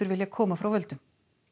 vilja koma frá völdum